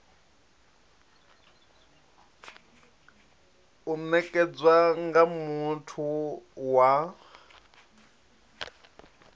u nekedzwa nga muthu wa